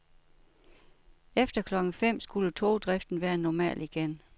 Efter klokken fem skulle togdriften være normal igen.